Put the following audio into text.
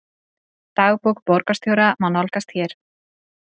Dagbók borgarstjóra má nálgast hér